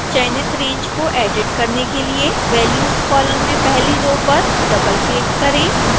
चयनित रैंज को एडिट करने के लिए values कॉलम में पहली रो पर डबलक्लिक करें